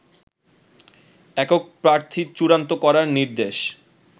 একক প্রার্থী চূড়ান্ত করার নির্দেশ